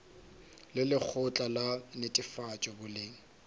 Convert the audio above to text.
le lekgotla la netefatšo boleng